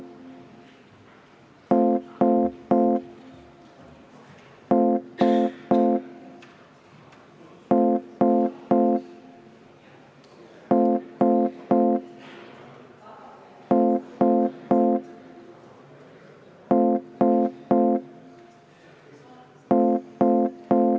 Teeme seda.